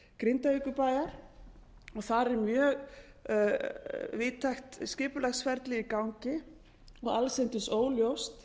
og þar er mjög víðtækt skipulagsferli í gangi og allsendis óljóst